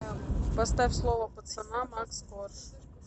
поставь слово пацана макс корж